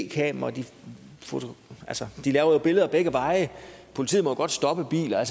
kameraer altså de laver jo billeder begge veje politiet må jo godt stoppe biler